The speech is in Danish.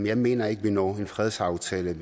jeg mener ikke at vi når en fredsaftale